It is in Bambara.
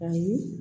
Ayi